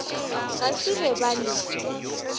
ga se be ba le